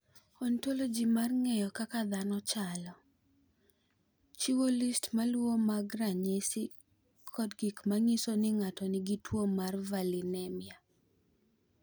"Ontoloji mar ng’eyo kaka dhano chalo, chiwo list ma luwogi mag ranyisi kod gik ma nyiso ni ng’ato nigi tuwo mar Valinemia."